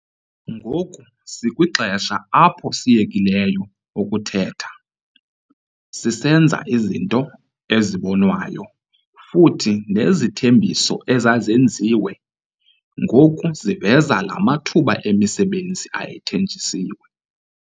Ngoku sikwixesha apho siyekileyo ukuthetha, sisenza izinto ezibonwayo futhi nezithembiso ezazenziwe ngoku ziveza la mathuba emisebenzi ayethenjisiwe.